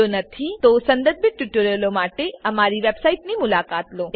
જો નથી તો સંદર્ભિત ટ્યુટોરીયલો માટે અમારી વેબસાઈટની મુલાકાત લો